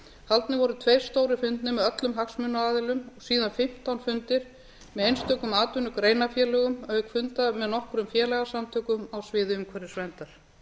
haldnir voru tveir stórir fundir með öllum hagsmunaaðilum síðan fimmtán fundir með einstökum atvinnugreinafélögum auk funda með nokkrum félagasamtökum á sviði umhverfisverndar